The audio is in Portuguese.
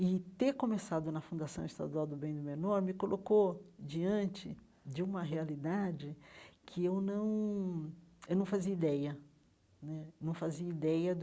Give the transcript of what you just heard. E ter começado na Fundação Estadual do Bem do Menor me colocou diante de uma realidade que eu não eu não fazia ideia né não fazia ideia.